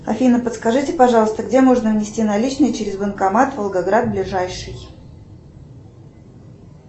афина подскажите пожалуйста где можно внести наличные через банкомат волгоград ближайший